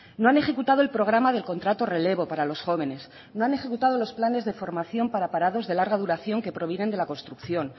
no han ejecutado el programa del contrato relevo para los jóvenes no han ejecutado los planes de formación para parados de larga duración que provienen de la construcción